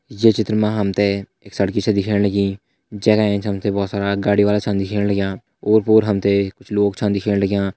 ये चित्र में हम्थे एक सड़क सी च दिख्याणी लगीं जेँका ऐंच हम्थे बहुत सारा गाडी वाला च दिखयाणा लाग्यां और पोर हम्थे कुछ लोग च दिखयाणा लाग्यां।